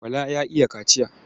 Bala ya iya kaciya.